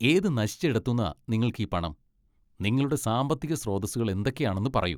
ഏതു നശിച്ച ഇടത്തൂന്നാ നിങ്ങൾക്കീ പണം? നിങ്ങളുടെ സാമ്പത്തിക സ്രോതസ്സുകൾ എന്തൊക്കെയാണെന്ന് പറയൂ .